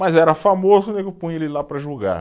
Mas era famoso, o nego punha ele lá para julgar.